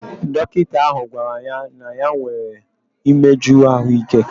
Dọkịta ahụ gwara ya na ya nwere imeju ahụike.